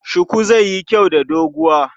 Shuku zai yi kyau da doguwa.